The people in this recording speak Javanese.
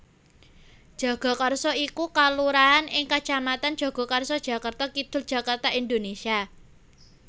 Jagakarsa iku kalurahan ing kacamatan Jagakarsa Jakarta Kidul Jakarta Indonésia